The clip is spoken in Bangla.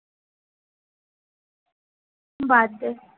বাদ দে